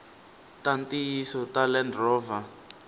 ta ntiyiso ta land rover